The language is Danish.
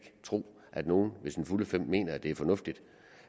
tro at nogen ved sine fulde fem mener at det er fornuftigt